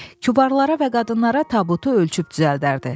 Kübarlara və qadınlara tabutu ölçüb düzəldərdi.